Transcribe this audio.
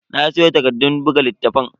Na siyo takardun buga littafan.